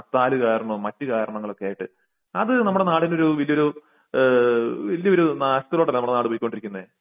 ഹർത്താൽ കാരണോം മറ്റു കാരണങ്ങൾ ഒക്കെ ആയിട്ട്. അത് നമ്മുടെ നാടിൻ്റെ ഒരു വല്യൊരു ഈഹ് വല്യൊരു നാശത്തിലോട്ടല്ലേ നമ്മുടെ നാട് പോയ്കൊണ്ടിരിക്കുന്നെ